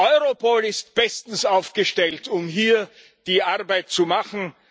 Europol ist bestens aufgestellt, um hier die Arbeit zu machen.